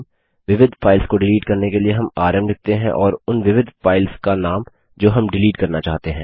विविध फाइल्स को डिलीट करने के लिए हम आरएम लिखते हैं और उन विविध फाइल्स का नाम जो हम डिलीट करना चाहते हैं